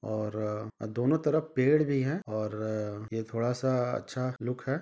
और दोनों तरफ पेड़ भी है और ये थोड़ा सा अच्छा लुक है।